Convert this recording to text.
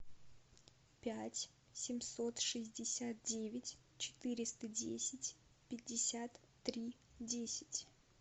пять семьсот шестьдесят девять четыреста десять пятьдесят три десять